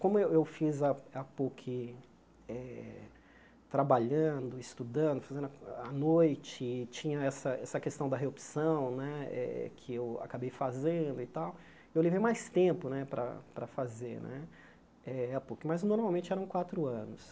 Como eu eu fiz a a Puc eh trabalhando, estudando, fazendo à à noite, tinha essa essa questão da reopção né eh que eu acabei fazendo e tal, eu levei mais tempo né para fazer né eh a Puc, mas normalmente eram quatro anos.